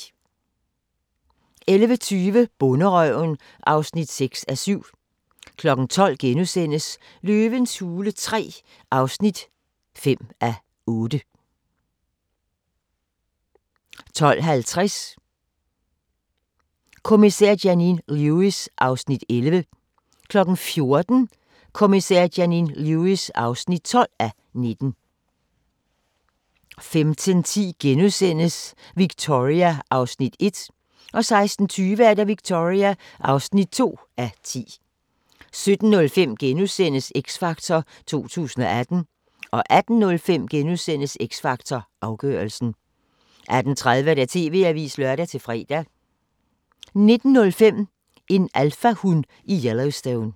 11:20: Bonderøven (6:7) 12:05: Løvens hule III (5:8)* 12:50: Kommissær Janine Lewis (11:19) 14:00: Kommissær Janine Lewis (12:19) 15:10: Victoria (1:10)* 16:20: Victoria (2:10) 17:05: X Factor 2018 * 18:05: X Factor Afgørelsen * 18:30: TV-avisen (lør-fre) 19:05: En alfahun i Yelllowstone